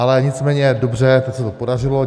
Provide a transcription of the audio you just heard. Ale nicméně dobře, teď se to podařilo.